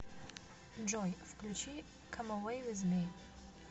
джой включи кам эвэй виз ми